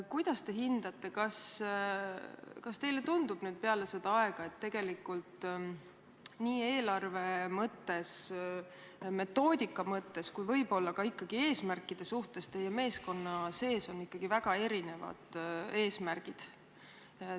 Kuidas te hindate, kas teile tundub nüüd peale seda aega, et tegelikult nii eelarve mõttes, metoodika mõttes kui võib-olla ka ikkagi eesmärkide suhtes on teie meeskonna sees ikkagi väga erinevad eesmärgid?